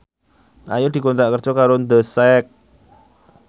Ayu dikontrak kerja karo The Sak